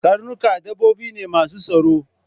Karnuka dabbobi ne masu tsaro.